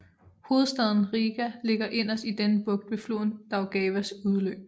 Hovedstaden Rīga ligger inderst i denne bugt ved floden Daugavas udløb